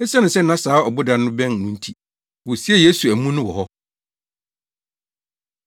Esiane sɛ na saa ɔboda no bɛn no nti, wosiee Yesu amu no wɔ hɔ.